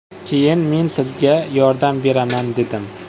Keyin ”Men sizga yordam beraman” dedim.